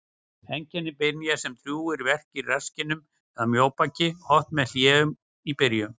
Einkenni byrja sem djúpir verkir í rasskinnum eða mjóbaki, oft með hléum í byrjun.